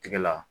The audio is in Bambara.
Tigɛ la